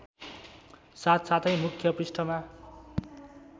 साथसाथै मुख्य पृष्ठमा